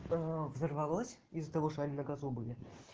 взорвалось из-за того что они на газу были